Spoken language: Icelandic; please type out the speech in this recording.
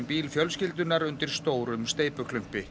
bíl fjölskyldunnar undir stórum